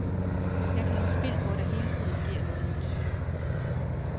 Jeg kan lide spil, hvor der hele tiden sker noget nyt.